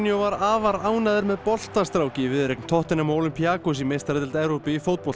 var afar ánægður með boltastrák í viðureign tottenham og Olympiacos í meistaradeild Evrópu í